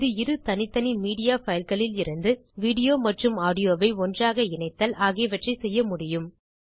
அல்லது இரு தனித்தனி மீடியா fileகளிலிந்து விடோ மற்றும் ஆடியோ ஐ ஒன்றாக இணைத்தல் ஆகியவற்றை செய்ய முடியும்